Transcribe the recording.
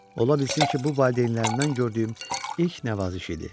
Ola bilsin ki, bu valideynlərindən gördüyüm ilk nəvaziş idi.